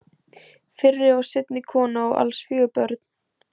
Fyrri og seinni kona og alls fjögur börn.